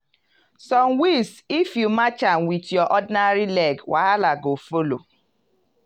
some weeds if you match am with your ordinary leg wahala go follow.